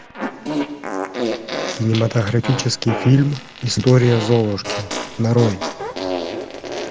кинематографический фильм история золушки нарой